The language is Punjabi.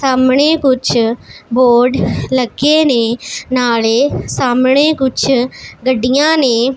ਸਾਹਮਣੇ ਕੁੱਛ ਬੋਰਡ ਲੱਗੇ ਨੇ ਨਾਲੇ ਸਾਹਮਣੇ ਕੁੱਛ ਗੱਡੀਆਂ ਨੇ।